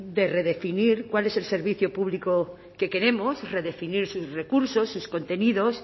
de redefinir cuál es el servicio público que queremos redefinir sus recursos sus contenidos